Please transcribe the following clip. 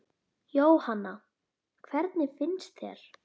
Jóhanna: Hvernig finnst þér?